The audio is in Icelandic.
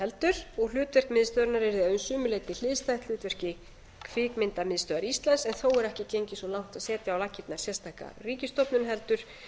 heldur og hlutverk miðstöðvarinnar er að sumu leyti hliðstætt hlutverki kvikmyndastöðvar íslands en þó er ekki gengið svo langt að setja á laggirnar sérstaka ríkisstofnun heldur